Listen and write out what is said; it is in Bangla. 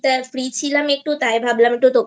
তা Free ছিলাম একটু তাই ভাবলাম